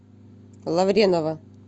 лавренова